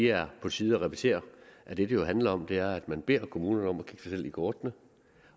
er på tide at repetere at det det jo handler om er at man beder kommunerne om at kigge sig selv i kortene